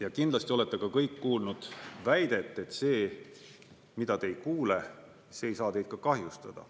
Ja kindlasti olete ka kõik kuulnud väidet, et see, mida te ei kuule, see ei saa teid ka kahjustada.